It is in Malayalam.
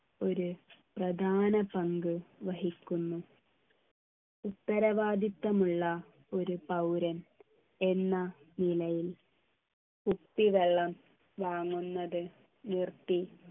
ഒരു പ്രധാന പങ്ക് വഹിക്കുന്നു ഉത്തരവാദിത്തമുള്ള ഒരു പൗരൻ എന്ന നിലയിൽ കുപ്പിവെള്ളം വാങ്ങുന്നത് നിർത്തി